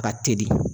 Ka teli